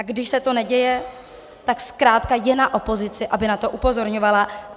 A když se to neděje, tak zkrátka je na opozici, aby na to upozorňovala.